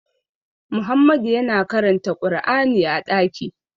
Muhammadu yana karanta kur'ani a ɗaki